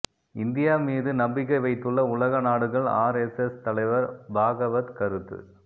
India மீது நம்பிக்கை வைத்துள்ள உலக நாடுகள் ஆர்எஸ்எஸ் தலைவர் பாகவத் கருத்து